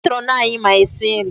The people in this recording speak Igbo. Matron anyị ma esi nri.